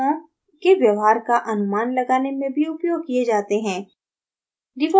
वे अणुओं के व्यवहार का अनुमान लगाने में भी उपयोग किये जाते हैं